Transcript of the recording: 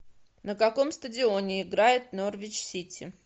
на каком стадионе играет норвич сити